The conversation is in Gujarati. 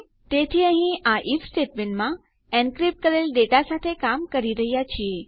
તેથી અહીં આ આઇએફ સ્ટેટમેંટમાં એનક્રીપ્ટ કરેલ ડેટા સાથે કામ કરી રહ્યા છીએ